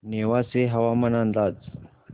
नेवासे हवामान अंदाज